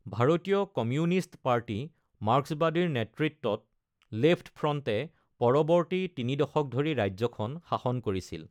ভাৰতীয় কমিউনিষ্ট পাৰ্টি-মাৰ্ক্সবাদীৰ নেতৃত্বত লেফ্ট ফ্ৰণ্টে পৰৱৰ্তী তিনি দশক ধৰি ৰাজ্যখন শাসন কৰিছিল।